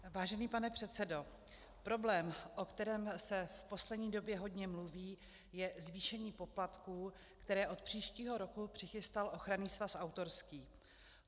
Vážený pane předsedo, problém, o kterém se v poslední době hodně mluví, je zvýšení poplatků, které od příštího roku přichystal Ochranný svaz autorský.